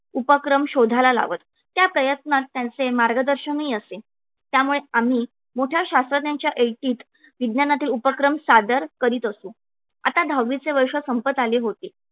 उपक्रम शोधायला लावत त्या प्रयत्नात त्यांचे मार्गदर्शनही असे. त्यामुळे आम्ही मोठ्या शास्त्रज्ञांच्या ऐटीत विज्ञानातील उपक्रम सादर करीत असू. आता दहावीचे वर्ष संपत आले होते.